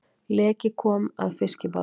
Leki kom að fiskibáti